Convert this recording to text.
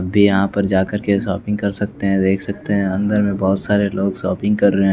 भी यहाँ पर जाकर के शॉपिंग कर सकते हैं देख सकते हैं अंदर में बहुत सारे लोग शॉपिंग कर रहे हैं।